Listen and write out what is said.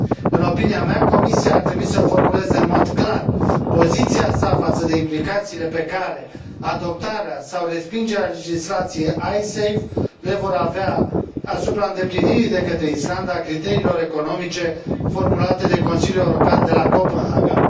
În opinia mea, Comisia ar trebui să formuleze în mod clar poziția sa față de implicațiile pe care adoptarea sau respingerea legislației Icesave le vor avea asupra îndeplinirii de către Islanda a criteriilor economice formulate de Consiliul European de la Copenhaga